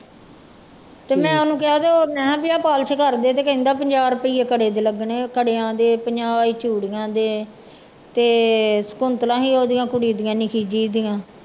ਤੇ ਮੈਂ ਉਹਨੂੰ ਕਿਹਾ ਤੇ ਮੈਂ ਕਿਹਾ ਵੀ ਆਹ ਪਾਲਸ ਕਰ ਦੇ ਤੇ ਕਹਿੰਦਾ ਪੰਜਾਹ ਰੁਪਈਏ ਕੜੇ ਦੇ ਲੱਗਣੇ, ਕੜਿਆਂ ਦੇ ਪੰਜਾਹ ਹੀ ਚੂੜੀਆਂ ਦੇ ਤੇ ਕੁੰਤਲਾਂ ਸੀ ਉਹਦੀਆਂ ਕੁੜੀ ਦੀਆਂ ਨਿੱਕੀ ਜਿਹੀ ਦੀਆਂ।